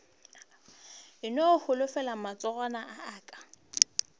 no holofela matsogwana a aka